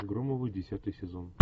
громовы десятый сезон